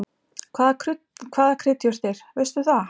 Hvaða kryddjurtir, veistu það?